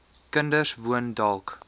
kinders woon dalk